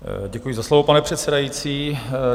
Děkuji za slovo, pane předsedající.